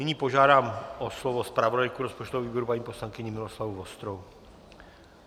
Nyní požádám o slovo zpravodajku rozpočtového výboru paní poslankyni Miloslavu Vostrou.